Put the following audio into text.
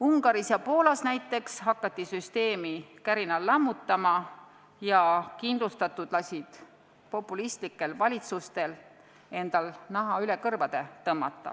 Ungaris ja Poolas hakati süsteemi kärinal lammutama ja kindlustatud lasid populistlikel valitsustel endal naha üle kõrvade tõmmata.